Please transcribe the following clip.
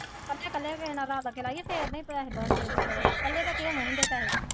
ਕੱਲੇ ਕੱਲੇ ਲਾਈਏ ਫਿਰ ਨਹੀਂ ਪੈਸੇ ਬਣਦੇ ਕੱਲੇ ਦੇ ਕੀ ਹੋਣੇ ਹੁੰਦੇ ਹੈ ਪੈਸੇ।